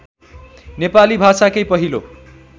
नेपाली भाषाकै पहिलो